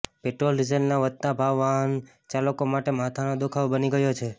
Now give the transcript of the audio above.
petrol ડીઝલના વધતા ભાવ વાહન ચાલકો માટે માથાનો દુખાવો બની ગયો છે